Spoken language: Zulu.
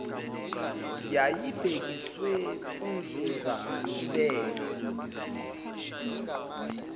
yayibhekiswe kunzuza ibeka